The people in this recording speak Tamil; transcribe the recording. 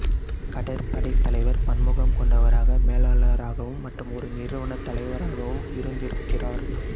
கடற்படை தலைவர் பன்முகம் கொண்டவராக மேலாளராகவும் மற்றும் ஒரு நிறுவனத் தலைவராகவும் இருந்திருக்கிறார்